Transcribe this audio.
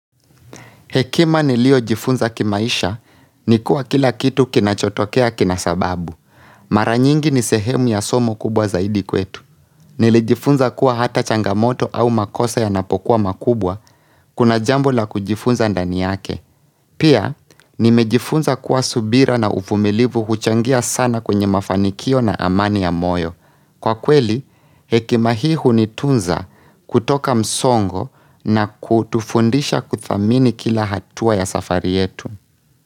Hekima niliyojifunza kimaisha, ni kuwa kila kitu kinachotokea kina sababu. Mara nyingi ni sehemu ya somo kubwa zaidi kwetu. Nilijifunza kuwa hata changamoto au makosa yanapokuwa makubwa, kuna jambo la kujifunza ndani yake. Pia, nimejifunza kuwa subira na uvumilivu huchangia sana kwenye mafanikio na amani ya moyo. Kwa kweli, hekima hii hunitunza kutoka msongo na kutufundisha kudhamini kila hatua ya safari yetu.